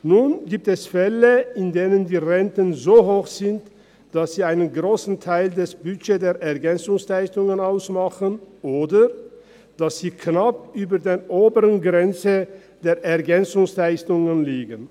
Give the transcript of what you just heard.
Nun gibt es Fälle, in denen die Renten so hoch sind, dass sie einen grossen Teil des Budgets der EL ausmachen oder dass sie knapp über der oberen Grenze der EL liegen.